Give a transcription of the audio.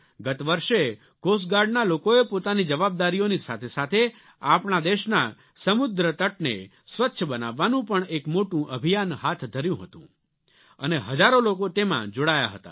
ગત વર્ષે કોસ્ટ ગાર્ડના લોકોએ પોતાની જવાબદારીઓની સાથે સાથે આપણા દેશના સમુદ્ર તટને સ્વચ્છ બનાવવાનું પણ એક મોટું અભિયાન હાથ ધર્યું હતું અને હજારો લોકો તેમાં જોડાયા હતા